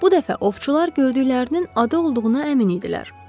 Bu dəfə ovçular gördüklərinin ada olduğuna əmin idilər.